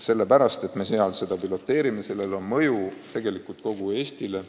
Me katsetame seda küll Viljandis, aga sellel on mõju kogu Eestile.